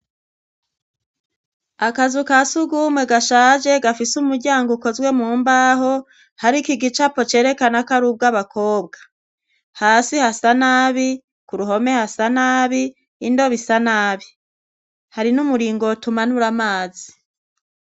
Akazu ka sugumwe gashaje gafise umuryango ukozwe mu mbaho , hariko igicapo cerekana kari ubw'abakobwa . Hasi hasa nabi ,ku ruhome hasa nabi ,indobo isa nabi, hari n'umuringoti umanura amazi.